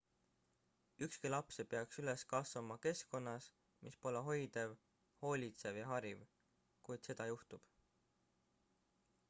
ükski laps ei peaks üles kasvama keskkonnas mis pole hoidev hoolitsev ja hariv kuid seda juhtub